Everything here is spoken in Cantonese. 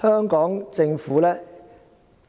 香港政府的